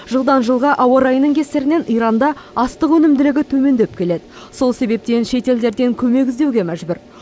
жылдан жылға ауа райының кесірінен иранда астық өнімділігі төмендеп келеді сол себептен шетелдерден көмек іздеуге мәжбүр